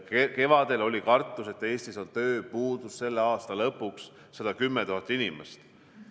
Kevadel oli kartus, et Eestis on tööpuudus selle aasta lõpuks 110 000 inimest.